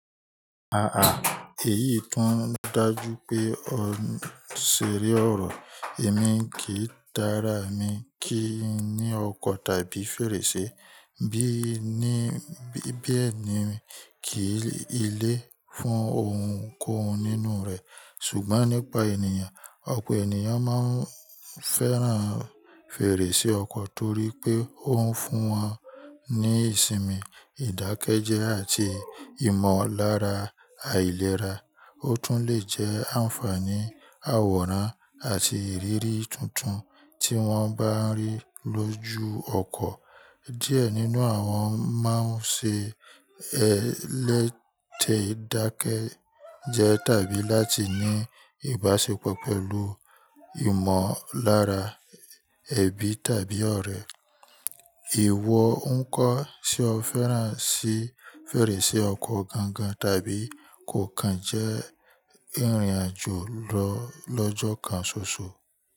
Ah ah èyí tún ń dájú pé ó seré ọ̀rọ̀. Èmi kì í dára mi kí n ní ọkọ tàbí fèrèsé. Bí ẹ ni mi kì í lé fún ohunkóhun nínú rẹ̀. Ṣùgbọ́n nípa ènìyàn, ọ̀pọ̀ ènìyàn máa ń fẹ́ràn fèrèsé ọkọ torí pé ó ń fún wọn ní ìsinmi, ìdákẹ́jẹ́ àti ìmọ̀lára àìlera. Ó tún lè jẹ́ àǹfààní àwòrán àti ìrírí tuntun tí wọ́n bá ń rí lójú ọkọ. Díẹ̀ nínú àwọn máa ń ṣe ẹlẹ́tẹ́dákẹ́jẹ́ tàbí láti ní ìbáṣepọ̀ pẹ̀lú ìmọ̀lára ẹbí tàbí ọ̀rẹ́. Èèwọ̀ ń kọ́ tí o fẹ́ràn sí fèrèsé ọkọ gan-gan tàbí kò kàn jẹ́ ìrìnàjò lọ́jọ́ kan ṣoṣo.